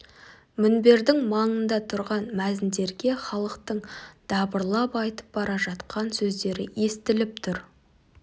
мінбердің маңында тұрған мәзіндерге халықтың дабырлап айтып бара жатқан сөздері естіліп тұр